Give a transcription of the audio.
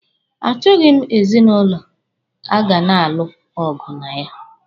A chọghi m ezinụlọ a ga na-alụ ọgụ na ya.